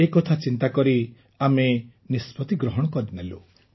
ଏ କଥା ଚିନ୍ତା କରି ଆମେ ନିଷ୍ପତି ନେଲୁ